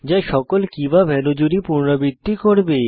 সকল keyভ্যালিউ জুড়ি পুনরাবৃত্তি করবে